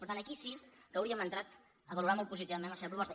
per tant aquí sí que hauríem entrat a valorar molt positivament la seva proposta